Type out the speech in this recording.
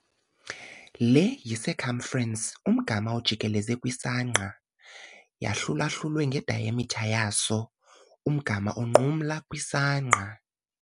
Le y-i-circumference, umgama ojikeleze, kwisangqa yahlulwahlulwe nge-diameter yaso, umgama onqumla kwisangqa.